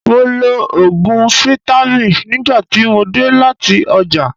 Mo lo òògùn fítámìn nígbà tí mo dé láti ọjà.